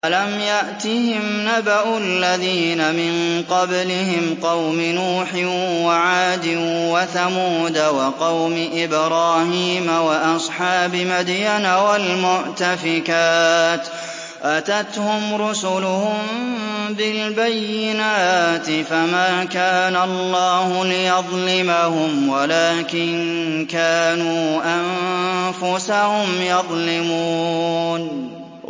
أَلَمْ يَأْتِهِمْ نَبَأُ الَّذِينَ مِن قَبْلِهِمْ قَوْمِ نُوحٍ وَعَادٍ وَثَمُودَ وَقَوْمِ إِبْرَاهِيمَ وَأَصْحَابِ مَدْيَنَ وَالْمُؤْتَفِكَاتِ ۚ أَتَتْهُمْ رُسُلُهُم بِالْبَيِّنَاتِ ۖ فَمَا كَانَ اللَّهُ لِيَظْلِمَهُمْ وَلَٰكِن كَانُوا أَنفُسَهُمْ يَظْلِمُونَ